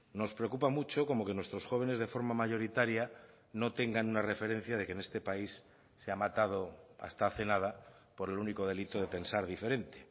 nos preocupa mucho como que nuestros jóvenes de forma mayoritaria no tengan una referencia de que en este país se ha matado hasta hace nada por el único delito de pensar diferente